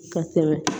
Ka tɛmɛ